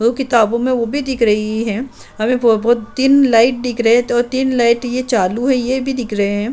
वो किताबों में वो भी दिख रही है हमें बहो बहोत तीन लाइट दिख रहे है और तीन लाइट ये चालू हैं ये भी दिख रहे हैं।